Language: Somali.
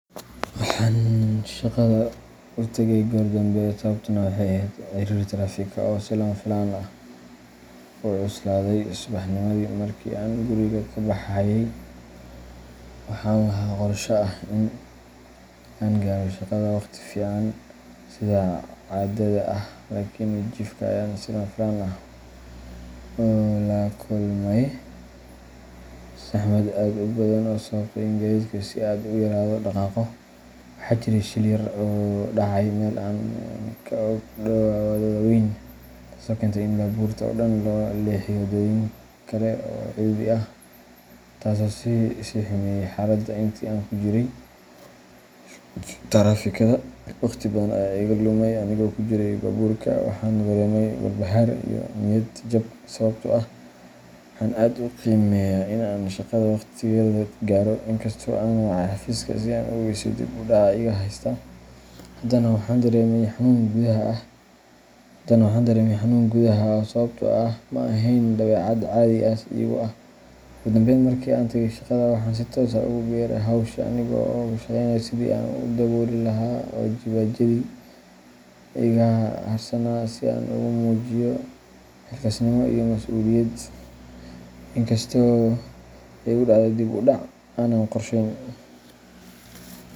Waxaan shaqada u tagay goor dambe sababtuna waxay ahayd ciriiriga taraafikada oo si lama filaan ah u cuslaaday subaxnimadii. Markii aan guriga ka baxayay, waxaan lahaa qorshe ah in aan gaaro shaqada waqti fiican, sida caadada ah, laakiin jidka ayaan si lama filaan ah ula kulmay saxmad aad u badan oo sababtay in gaadiidku si aad ah u yara dhaqaaqo. Waxaa jiray shil yar oo dhacay meel aan ka ag dhowaa waddada weyn, taasoo keentay in baabuurta oo dhan loo leexiyo waddooyin kale oo cidhiidhi ah, taasoo sii xumeysay xaaladda. Intii aan ku jiray taraafikada, waqti badan ayaa iga lumay anigoo ku jiray baabuurka, waxaana dareemay walbahaar iyo niyad-jab sababtoo ah waxaan aad u qiimeeyaa in aan shaqada waqtigeeda gaaro. Inkastoo aan wacay xafiiska si aan u ogeysiiyo dib u dhaca iga haysta, haddana waxaan dareemay xanuun gudaha ah sababtoo ah ma ahayn dabeecad caadi iigu ah. Ugu dambeyn, markii aan tagay shaqada waxaan si toos ah ugu biiray hawsha, anigoo ka shaqeynayay sidii aan u dabooli lahaa waajibaadyadii iga harsanaa, si aan ugu muujiyo xilkasnimo iyo mas’uuliyad, inkastoo ay igu dhacday dib u dhac aanan qorsheyn.